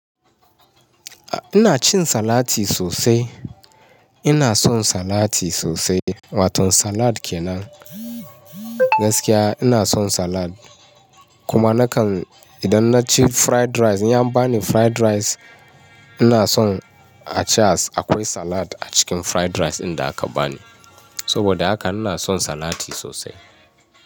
Ina cin salati sosai. Ina son salati sosai. Waton salad kenan. Gaskiya ina son salad. Kuma nakan idan naci fried rice, in an bani fried rice, ina son a ce, akwai salad a cikin fried rice ɗin da aka bani. Saboda haka ina son salati sosai.